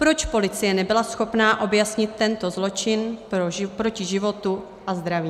Proč policie nebyla schopna objasnit tento zločin proti životu a zdraví?